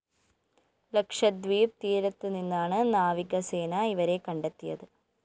ലക്ഷദ്വീപ് തീരത്തു നിന്നാണ് നാവികസേന ഇവരെ കണ്ടെത്തിയത്